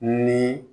Ni